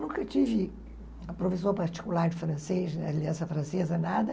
Nunca tive a professora particular de francês, francesa, nada.